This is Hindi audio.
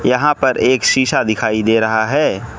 यहां पर एक शीशा दिखाई दे रहा है।